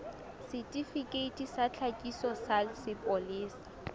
setifikeiti sa tlhakiso sa sepolesa